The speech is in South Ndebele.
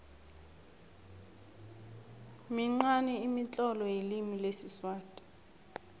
minqani imitlolo yelimi lesiswati